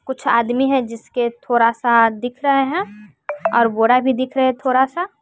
कुछ आदमी हैं जिसके थोड़ा सा दिख रहा हैं और घोड़ा भी दिख रहे थोड़ा सा।